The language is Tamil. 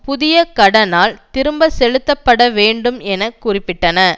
புதிய கடனால் திரும்பி செலுத்தப்பட வேண்டும் என குறிப்பிட்டன